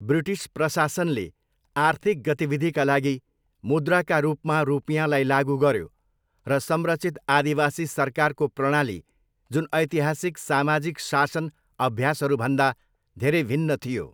British प्रशासनले आर्थिक गतिविधिका लागि मुद्राका रूपमा रुपियाँलाई लागु गर्यो र संरचित आदिवासी सरकारको प्रणाली जुन ऐतिहासिक सामाजिक शासन अभ्यासहरूभन्दा धेरै भिन्न थियो।